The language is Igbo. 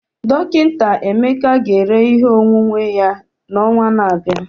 Dọkịta Emeka ga-ere ihe onwunwe ya n'ọnwa na-abịa.